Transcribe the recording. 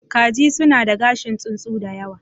Kaji suna da gashin tsuntsu da yawa.